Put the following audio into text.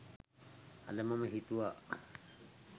අද මම හිතුවා